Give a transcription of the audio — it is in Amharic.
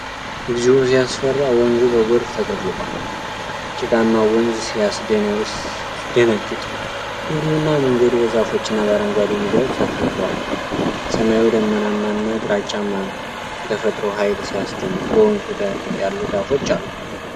እግዚኦ! ሲያስፈራ! ወንዙ በጎርፍ ተጥለቅልቋል። ጭቃማው ወንዝ ሲደነግጥ! ድልድዩና መንገዱ በዛፎችና በአረንጓዴ ሜዳዎች ተከብበዋል። ሰማዩ ደመናማና ግራጫማ ነው። የተፈጥሮ ኃይል ሲያስደንቅ! በወንዙ ዳር ያሉ ዛፎች አሉ።